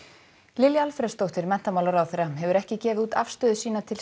Lilja Alfreðsdóttir menntamálaráðherra hefur ekki gefið út afstöðu sína til